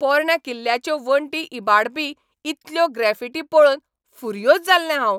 पोरण्या किल्ल्याच्यो वणटी इबाडपी इतल्यो ग्रॅफिटी पळोवन फुर्योझ जाल्लें हांव.